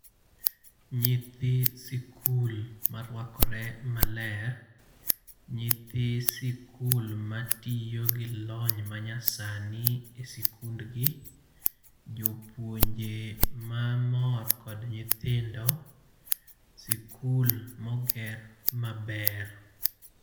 Nyithi sikul marwakore maler. Nyithi sikul matiyo gi lony ma nyasani e sikundgi. Jopuonje mamor kod nyithindo. Sikul moger maber.